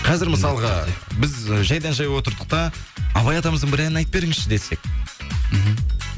қазір мысалға біз жайдан жай отырдық та абай атамыздың бір әнін айтып беріңізші десек мхм